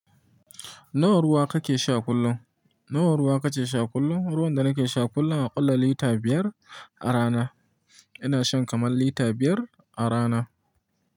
Nawa ruwa kake sha kullum? Nawa ruwa kake sha kullum? Ruwan da nake sha kullum akalla lita biyar a rana. Ina shan kamar lita biyar a rana.